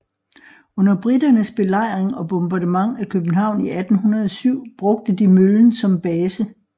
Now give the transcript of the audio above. Under briternes belejring og bombardement af København i 1807 brugte de møllen som base